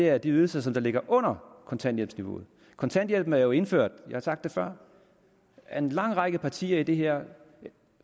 er de ydelser som ligger under kontanthjælpsniveauet kontanthjælpen er jo indført jeg har sagt det før af en lang række partier i det her